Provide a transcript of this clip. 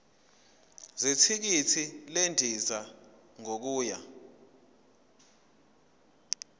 zethikithi lendiza yokuya